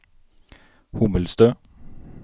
Hommelstø